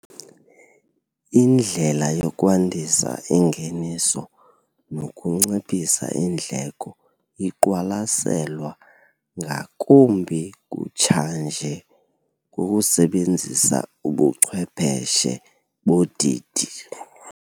Indlela yokwandisa ingeniso nokunciphisa iindleko iqwalaselwa ngakumbi kutshanje ngokusebenzisa ubuchwepheshe bodidi.